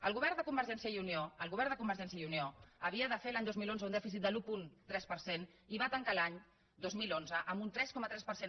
el govern de convergència i unió el govern de convergència i unió havia de fer l’any dos mil onze un dèficit de l’un coma tres per cent i va tancar l’any dos mil onze amb un tres coma tres per cent